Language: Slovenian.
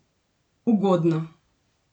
Ugodno!